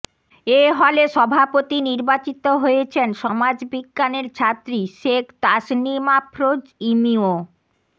এ হলে সভাপতি নির্বাচিত হয়েছেন সমাজ বিজ্ঞানের ছাত্রী শেখ তাসনিম আফরোজ ইমি ও